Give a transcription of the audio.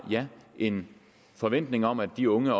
en forventning om at de unge